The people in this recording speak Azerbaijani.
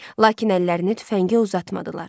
Lakin əllərini tüfəngə uzatmadılar.